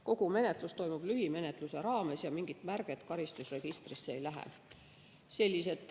Kogu menetlus toimub lühimenetluse raames ja mingit märget karistusregistrisse ei lähe.